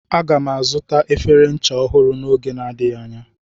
Aga m azụta efere ncha ọhụrụ n'oge na-adịghị anya.